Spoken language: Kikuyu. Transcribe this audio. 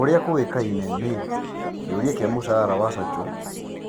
ũria kũĩkaine nĩ-kĩũria kĩa mũcara wa Zacho